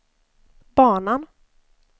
banan